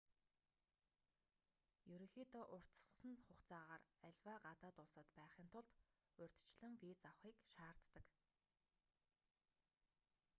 ерөнхийдөө уртасгасан хугацаагаар аливаа гадаад улсад байхын тулд урьдчилан виз авахыг шаарддаг